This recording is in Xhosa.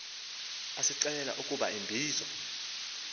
asixelela ukuba ubizo